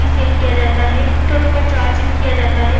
Cell किया जाता है टोटो को चार्ज भी किया जाता है।